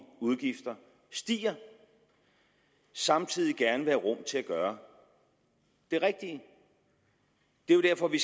udgifter stiger og samtidig gerne vil have rum til at gøre det rigtige det er jo derfor vi